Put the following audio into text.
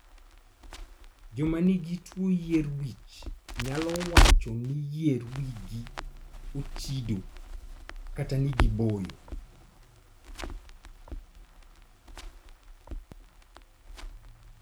Joma nigi tuo yier wich nyalo wacho ni yier wigi "ochido" kata ni giboyo.